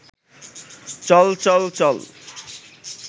চল চল চল